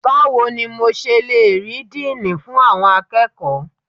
Báwo ni mo ṣe le rí Díínì fún àwọn akẹ́kọ̀ọ́?